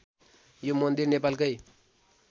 यो मन्दिर नेपालकै